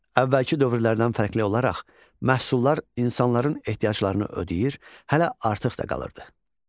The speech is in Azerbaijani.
Əvvəlki dövrlərdən fərqli olaraq, məhsullar insanların ehtiyaclarını ödəyir, hələ artıq da qalırdı.